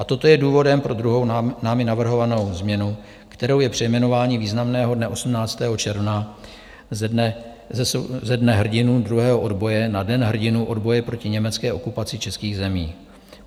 A toto je důvodem pro druhou námi navrhovanou změnu, kterou je přejmenování významného dne 18. června ze Dne hrdinů druhého odboje na Den hrdinů odboje proti německé okupaci českých zemí.